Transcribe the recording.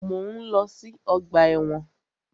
Mọ̀ ń lọ sí ọgbà ẹ̀wọ̀n.